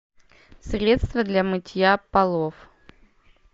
средство для мытья полов